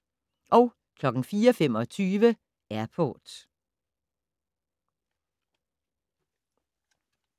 04:25: Airport